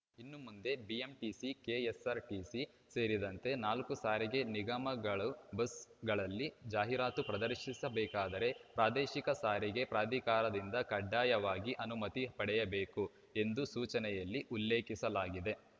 ಇನ್ನು ಮುಂದೆ BMTC KSRTC ಸೇರಿದಂತೆ ನಾಲ್ಕು ಸಾರಿಗೆ ನಿಗಮಗಳು ಬಸ್‌ಗಳಲ್ಲಿ ಜಾಹೀರಾತು ಪ್ರದರ್ಶಿಸಬೇಕಾದರೆ ಪ್ರಾದೇಶಿಕ ಸಾರಿಗೆ ಪ್ರಾಧಿಕಾರದಿಂದ ಕಡ್ಡಾಯವಾಗಿ ಅನುಮತಿ ಪಡೆಯಬೇಕು ಎಂದು ಸೂಚನೆಯಲ್ಲಿ ಉಲ್ಲೇಖಿಸಲಾಗಿದೆ